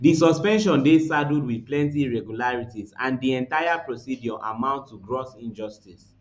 di suspension dey saddled wit plenty irregularities and di entire procedure amount to gross injustice